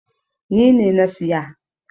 Ni ne na siya.